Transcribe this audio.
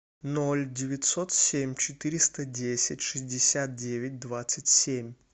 ноль девятьсот семь четыреста десять шестьдесят девять двадцать семь